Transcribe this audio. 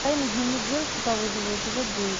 тайный дневник девушки по вызову эпизод девять